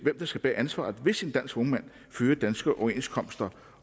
bære ansvaret hvis en dansk vognmand følger de danske overenskomster